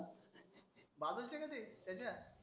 बाजुचं का ते त्याच्या.